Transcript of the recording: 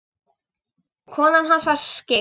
Konan hans var skyggn.